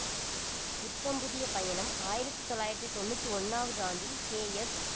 புத்தம் புதிய பயணம் ஆயிரத்தி தொள்ளாயிரத்தி தொன்னூற்தி ஓன்னாவது ஆண்டில் கே எஸ்